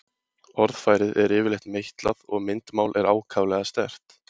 Orðfærið er yfirleitt meitlað og myndmál er ákaflega sterkt.